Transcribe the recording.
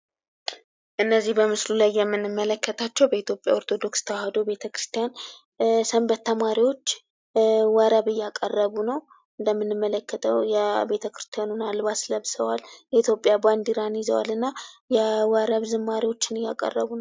እነዚህ በምስሉ ላይ የምንመለከታቸው በኢትዮጵያ ኦርቶዶክስ ተዋሕዶ ቤተክርስቲያን ሰንበት ተማሪዎች ወረብ እያቀረቡ ነው። እንደምንመለከተው የቤተክርስቲያኑን አልባስ ለብሰዋል። የኢትዮጵያ ባንዲራን ይዘዋል። እና የወረብ ዝማሬዎችን እያቀረቡ ነው።